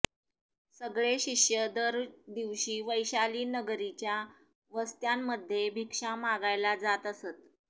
सगळे शिष्य दर दिवशी वैशालीनगरीच्या वस्त्यांमध्ये भिक्षा मागायला जात असत